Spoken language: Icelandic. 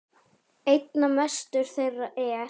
Einna mestur þeirra er